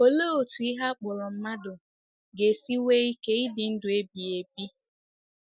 Olee otú ihe a kpọrọ mmadụ ga-esi nwee ike ịdị ndụ ebighị ebi?